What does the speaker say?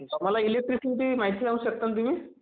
आम्हाला इलेक्ट्रीसिटीची माहिती सांगू शकताल् तुम्ही?